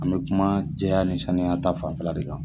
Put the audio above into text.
An bɛ kuma jɛya ni sanuya ta fanfɛla de kan.